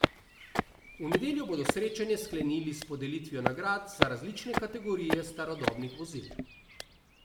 V nedeljo bodo srečanje sklenili s podelitvijo nagrad za različne kategorije starodobnih vozil.